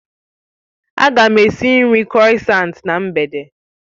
Aga m esi nri krossants na mgbede